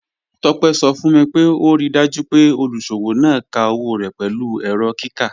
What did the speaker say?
Tope sọ fun mi pé o ríì dájú pé olúṣọwọ náà ká owo rẹ́ pẹ̀lú èrọ̀ kíkà.